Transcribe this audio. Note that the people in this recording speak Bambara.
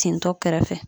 Tentɔ kɛrɛfɛ